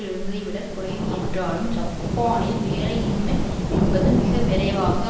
இருந்ததைவிட குறைவு என்றாலும் ஜப்பானில் வேலையின்மை என்பது மிக விரைவாக